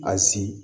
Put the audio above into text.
A si